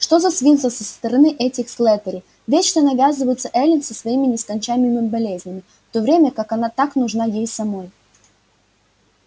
что за свинство со стороны этих слэттери вечно навязываться эллин со своими нескончаемыми болезнями в то время как она так нужна ей самой